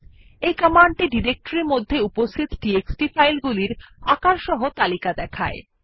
এই কমান্ডটি ডিরেক্টরির মধ্যে উপস্থিত টিএক্সটি ফাইলগুলির আকারসহ তালিকা দেখায়